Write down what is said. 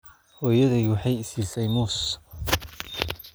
Hooyaday waxay i siisay muus